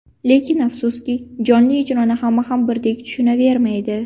Lekin afsuski, jonli ijroni hamma ham birdek tushunavermaydi.